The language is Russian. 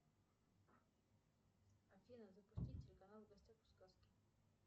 афина запусти телеканал в гостях у сказки